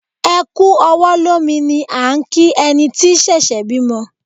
Ẹ kú ọwọ́ lómi ni à ń kí ẹni tí ṣẹ̀ṣẹ̀ bímọ